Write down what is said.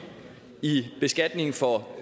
i beskatningen